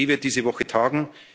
Wirtschaft. Die EZB wird diese